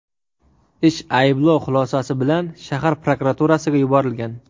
Ish ayblov xulosasi bilan shahar prokuraturasiga yuborilgan.